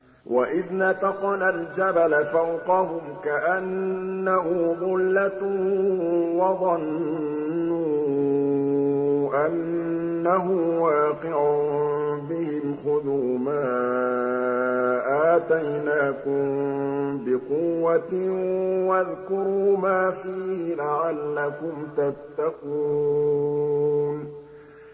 ۞ وَإِذْ نَتَقْنَا الْجَبَلَ فَوْقَهُمْ كَأَنَّهُ ظُلَّةٌ وَظَنُّوا أَنَّهُ وَاقِعٌ بِهِمْ خُذُوا مَا آتَيْنَاكُم بِقُوَّةٍ وَاذْكُرُوا مَا فِيهِ لَعَلَّكُمْ تَتَّقُونَ